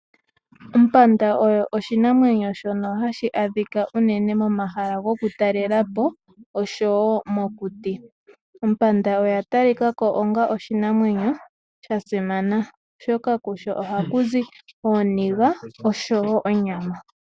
Ompanda oyo oshinamwenyo shono hashi adhika unene momahala goku talelapo, oshowo mokuti. Ompanda oya ta li kako onga oshinamwenyo sha simana. Shoka kusho oha ku zi ooniga oshowo onyama.